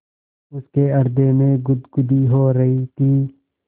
उसके हृदय में गुदगुदी हो रही थी